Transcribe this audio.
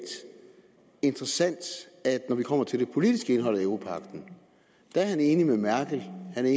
interessant at når vi kommer til det politiske indhold af europagten er han enig med merkel han er